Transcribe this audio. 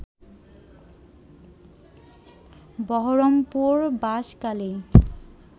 Baharampur বাসকালেই